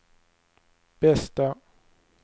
bästa